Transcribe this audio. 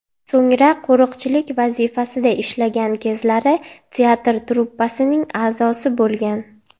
So‘ngra qo‘riqchilik vazifasida ishlagan kezlari teatr truppasining a’zosi bo‘lgan.